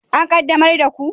An qaddamar da ku?